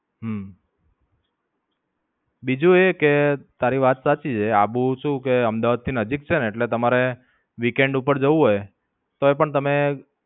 હમ બીજું એ કે, તારી વાત સાચી છે આબુ શું કે અમદાવાદ થી નજીક છે ને એટલે તમારે the weekend ઉપર જવું હોય તો પણ તમે